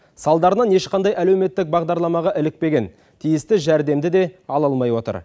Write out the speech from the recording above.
салдарынан ешқандай әлеуметтік бағдарламаға ілікпеген тиісті жәрдемді де ала алмай отыр